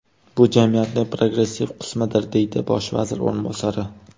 Bu jamiyatning progressiv qismidir”, deydi bosh vazir o‘rinbosari.